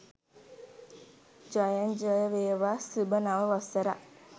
ජයෙන් ජය වේවා සුභ නව වසරක්